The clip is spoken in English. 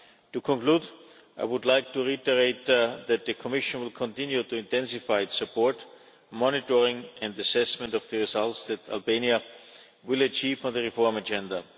To conclude, I would like to reiterate that the Commission will continue to intensify its support, monitoring and assessment of the results that Albania achieves on the reform agenda.